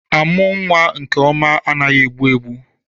Amụ nwa nke ọma anaghị egbu egbu.